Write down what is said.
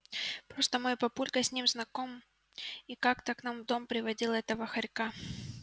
просто мой папулька с ним знаком и как-то к нам в дом приводил этого хорька